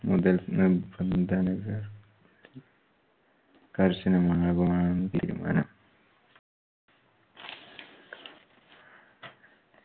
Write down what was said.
മുതൽ നിർബന്ധനകൾ കർഷനമാണ് തീരുമാനം.